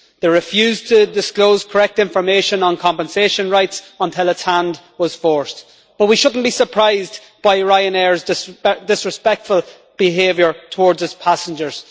It refused to disclose correct information on compensation rights until its hand was forced, but we shouldn't be surprised by Ryanair's disrespectful behaviour towards its passengers.